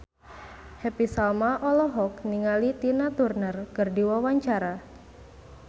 Happy Salma olohok ningali Tina Turner keur diwawancara